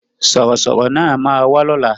Sọ̀rọ̀ sọ̀rọ̀ náà ma wá lóla